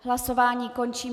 Hlasování končím.